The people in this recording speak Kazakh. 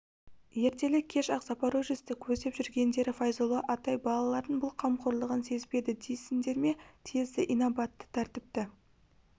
ертелі-кеш ақ запорожецті көздеп жүргендері файзолла атай балалардың бұл қамқорлығын сезбеді дейсіңдер ме сезді инабатты тәртіпті